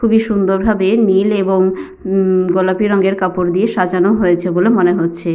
খুবই সুন্দরভাবে নীল এবং উম গোলাপী রঙের কাপড় দিয়ে সাজানো হয়েছে বলে মনে হচ্ছে।